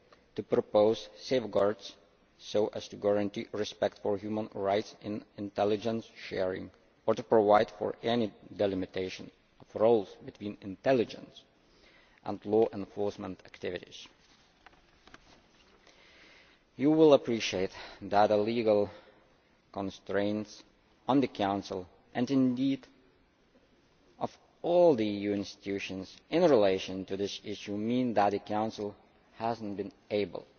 to propose safeguards so as to guarantee respect for human rights in intelligence sharing or to provide for any delimitation of roles between intelligence and law enforcement activities. You will appreciate that a legal constraint on the Council and indeed on all the EU institutions in relation to this issue means that the Council has not been able